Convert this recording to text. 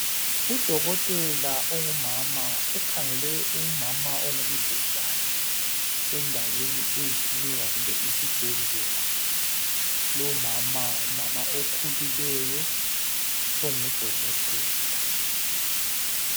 Udokotela ongumama ukhangele umama ongumdlezane endaweni eyiklinika kumbe isibhedlela lumama ngumama okhulileyo ongudokotela.